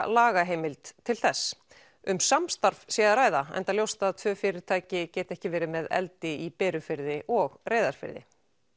lagaheimild til þess um samstarf sé að ræða enda ljóst að tvö fyrirtæki geti ekki verið með eldi í Berufirði og Reyðarfirði